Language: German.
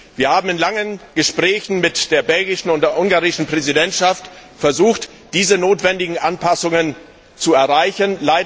Wir haben in langen Gesprächen mit der belgischen und der ungarischen Präsidentschaft versucht, diese notwendigen Anpassungen zu erreichen.